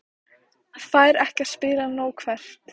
Fær ekki að spila nóg Hvert?